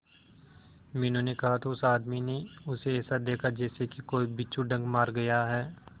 मीनू ने कहा तो उस आदमी ने उसे ऐसा देखा जैसे कि कोई बिच्छू डंक मार गया है